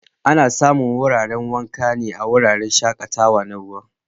Ana samu wuraren wanka a wuraren shaƙatawa na ruwa.